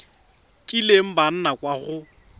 kileng ba nna kwa go